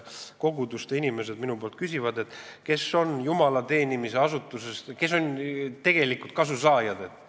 Koguduste inimesed küsivad minult, kes on tegelikud kasusaajad jumala teenimise asutuses.